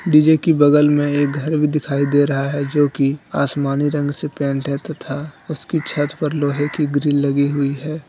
DJ की बगल में एक घर भी दिखाई दे रहा है जोकि आसमानी रंग से पेंट है तथा उसकी छत पर लोहे की लगी हुई है।